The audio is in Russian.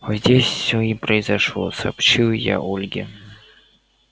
вот здесь всё и произошло сообщил я ольге